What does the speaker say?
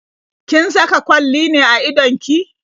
Kin saka kwalli ne a idon ki?